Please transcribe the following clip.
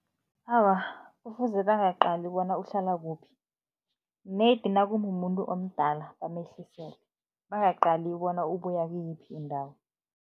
Awa, kufuze bangaqali bona uhlala kuphi nedi nakumumuntu omdala, bamehlisele, bangaqali bona ubuya kuyiphi indawo.